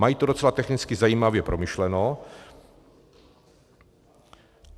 Mají to docela technicky zajímavě promyšleno.